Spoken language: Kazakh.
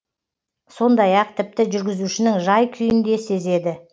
сондай ақ тіпті жүргізушінің жай күйін де сезеді